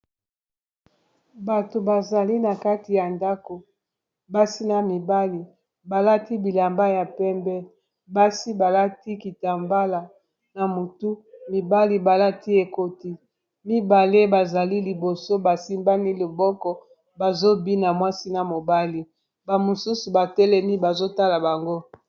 Bato bazali na kati ya ndako basi na mibali balati bilamba ya pembe basi balati kitambala na motu mibali balati ekoti mibale bazali liboso bas imbani loboko ba zobina mwasi na mobali ba mosusu batelemi bazo tala bango.